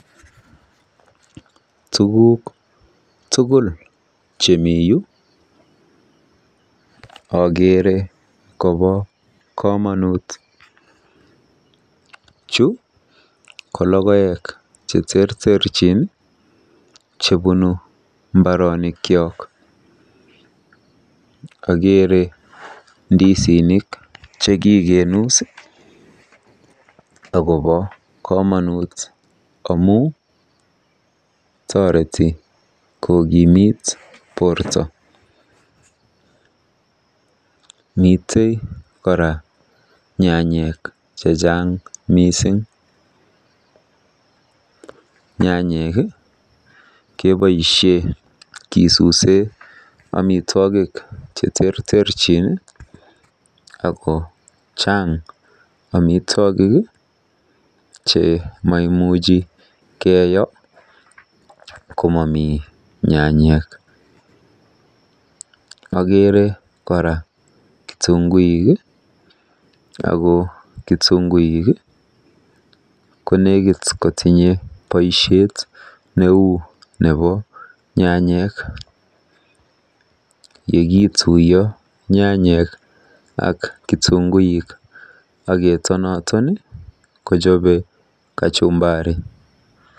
Tuguk tugul chemiyu akeere kobo komonut. Chu ko lokoek cheterterchin chebunu mbaronikyo. Akeere ndisinik chekikinuus akobo komonut amu toreti kokimiit borto. Mitei kora nyanyek chechang mising. Nyanyek keboisie kisuuse amitwogik cheterterchin ako chaang amitwogik chemaimuch keyo komami nyanyek. Akeere kora kitunguik ako kitunguik ko nekiit kotinye boisiet neu nebo nyanyek. Yekiituiyo nyanyek ak kitunguik aketon kochobe kachumbari.